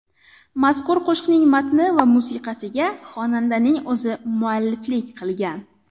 Mazkur qo‘shiqning matni va musiqasiga xonandaning o‘zi mualliflik qilgan.